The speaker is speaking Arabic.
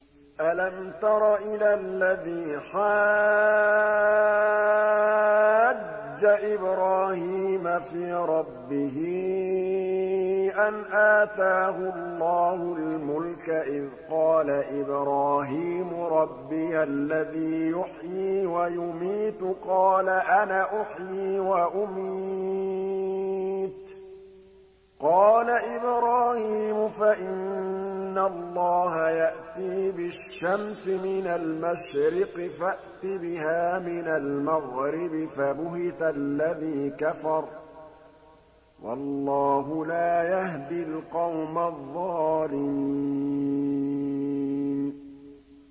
أَلَمْ تَرَ إِلَى الَّذِي حَاجَّ إِبْرَاهِيمَ فِي رَبِّهِ أَنْ آتَاهُ اللَّهُ الْمُلْكَ إِذْ قَالَ إِبْرَاهِيمُ رَبِّيَ الَّذِي يُحْيِي وَيُمِيتُ قَالَ أَنَا أُحْيِي وَأُمِيتُ ۖ قَالَ إِبْرَاهِيمُ فَإِنَّ اللَّهَ يَأْتِي بِالشَّمْسِ مِنَ الْمَشْرِقِ فَأْتِ بِهَا مِنَ الْمَغْرِبِ فَبُهِتَ الَّذِي كَفَرَ ۗ وَاللَّهُ لَا يَهْدِي الْقَوْمَ الظَّالِمِينَ